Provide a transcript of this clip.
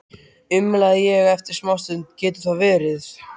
umlaði ég eftir smástund: Getur það verið?